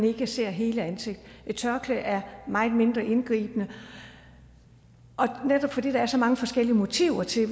ikke ser hele ansigtet et tørklæde er meget mindre indgribende netop fordi der er så mange forskellige motiver til